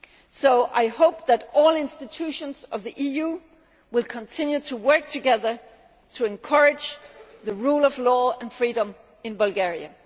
So I hope that all institutions of the EU will continue to work together to encourage the rule of law and freedom in Bulgaria.